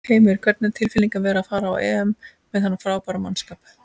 Heimir: Hvernig er tilfinningin að vera að fara á EM með þennan frábæra mannskap?